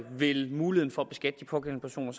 vil muligheden for at beskatte de pågældende personer